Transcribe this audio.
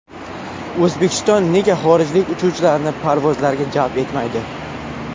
O‘zbekiston nega xorijlik uchuvchilarni parvozlarga jalb etmaydi?.